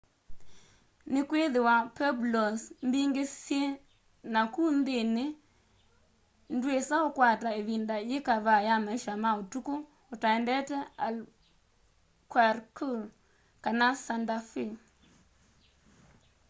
nikwithiwa pueblos mbingi syi naku nthini ndwisa ukwata ivinda yikavaa ya maisha ma utuku utaendete albuquerque kana santa fe